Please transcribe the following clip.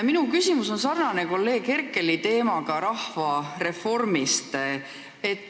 Minu küsimuse teema on sarnane kolleeg Herkeli teemaga.